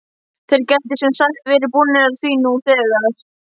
Þeir gætu sem sagt verið búnir að því nú þegar.